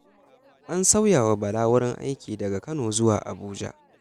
An sauya wa Bala wurin aiki daga Kano zuwa Abuja